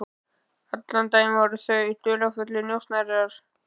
Allan daginn voru þau dularfullir njósnarar.